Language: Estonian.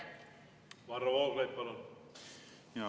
Varro Vooglaid, palun!